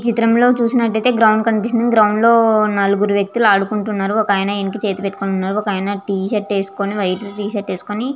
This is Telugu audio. ఈ చిత్రం లో చుసినటు గ్రౌండ్ కనిపిస్తూ ఉంది నలుగురు వ్యక్తులు అడుక్లున్తునారు ఒక ఆయనే చేతికి ఇంకు పెటుకొని ఉన్నాడు ఒక ఆయనే టీ షర్ట్ వేసుకొని వైట్ టీ షర్టు వేసుకొని ఉన్నాడు.